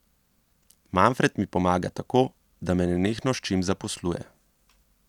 Manfred mi pomaga tako, da me nenehno s čim zaposluje.